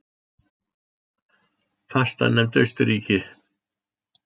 Fastanefnd Austurríki